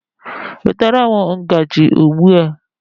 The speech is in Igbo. Nwetara m ngaji ugbu a!